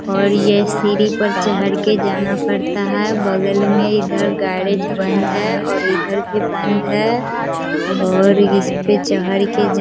और ये सीढ़ी पे चढ़ कर जाना पड़ता है बगल में इधर गैरज बंद है और इधर भी बंद है और इसपे चढ़ के --